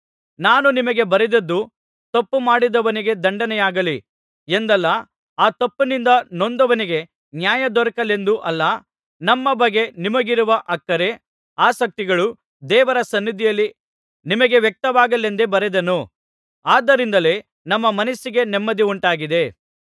ನಾನು ನಿಮಗೆ ಬರೆದದ್ದು ತಪ್ಪುಮಾಡಿದವನಿಗೆ ದಂಡನೆಯಾಗಲಿ ಎಂದಲ್ಲ ಆ ತಪ್ಪಿನಿಂದ ನೊಂದವನಿಗೆ ನ್ಯಾಯ ದೊರಕಲೆಂದೂ ಅಲ್ಲ ನಮ್ಮ ಬಗ್ಗೆ ನಿಮಗಿರುವ ಅಕ್ಕರೆ ಆಸಕ್ತಿಗಳು ದೇವರ ಸನ್ನಿಧಿಯಲ್ಲಿ ನಿಮಗೆ ವ್ಯಕ್ತವಾಗಲೆಂದೇ ಬರೆದೆನು ಆದ್ದರಿಂದಲೇ ನಮ್ಮ ಮನಸ್ಸಿಗೆ ನೆಮ್ಮದಿ ಉಂಟಾಗಿದೆ